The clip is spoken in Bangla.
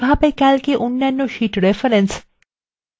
calcএ অন্যান্য sheets reference এবং